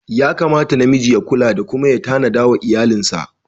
Yakamata na miji ya kula da kuma ya tanada wa iyalinsa.